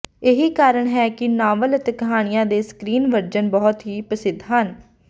ਇਹੀ ਕਾਰਣ ਹੈ ਕਿ ਨਾਵਲ ਅਤੇ ਕਹਾਣੀਆ ਦੀ ਸਕਰੀਨ ਵਰਜਨ ਬਹੁਤ ਹੀ ਪ੍ਰਸਿੱਧ ਹਨ